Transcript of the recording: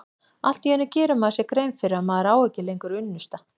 Allt í einu gerir maður sér grein fyrir að maður á ekki lengur unnusta.